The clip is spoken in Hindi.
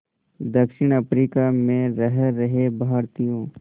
दक्षिण अफ्रीका में रह रहे भारतीयों